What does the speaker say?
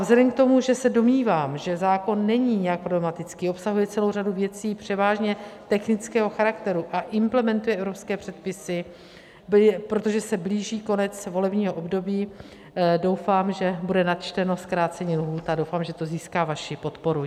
Vzhledem k tomu, že se domnívám, že zákon není nějak problematický, obsahuje celou řadu věcí převážně technického charakteru a implementuje evropské předpisy, protože se blíží konec volebního období, doufám, že bude načteno zkrácení lhůt, a doufám, že to získá vaši podporu.